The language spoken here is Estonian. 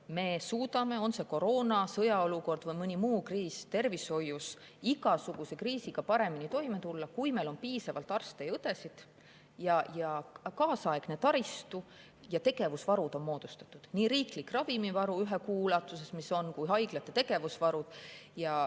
Me suudame tervishoius igasuguse kriisiga – on see siis koroona, sõjaolukord või mõni muu kriis – paremini toime tulla, kui meil on piisavalt arste ja õdesid, kui meil on kaasaegne taristu ja on moodustatud tegevusvarud, nii riiklik ravimivaru ühe kuu ulatuses kui ka haiglate tegevusvarud.